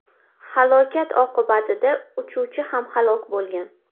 Halokat oqibatida uchuvchi ham halok bo‘lgan.